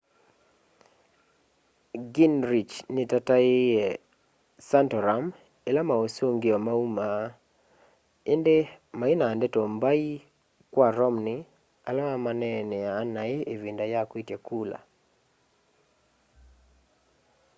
gingrich nitataiie santorum ila mausungio maumie indi maina ndeto mbai kwa romney ala mamaneneaa nai ivinda ya kwitya kula